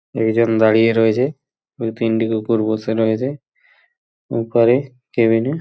একজন দাড়িয়ে রয়েছে দু তিনটে কুকুর বসে রয়েছে ওপরে কেবিন এ।